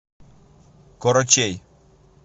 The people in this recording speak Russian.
корочей